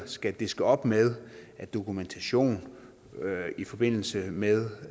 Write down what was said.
skal diske op med af dokumentation i forbindelse med